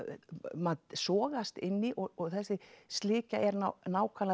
maður sogast inn í og þessi slikja er